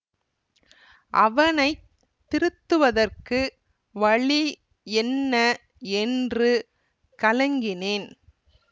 அவனை திருத்துவதற்கு வழி என்ன என்று கலங்கினேன்